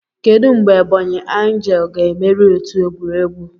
Kedu mgbe Ebonyi angle ga-emeri otu egwuregwu?